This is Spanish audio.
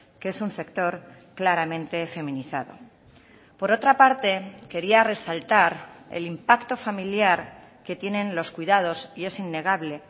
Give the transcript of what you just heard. que es un sector claramente feminizado por otra parte quería resaltar el impacto familiar que tienen los cuidados y es innegable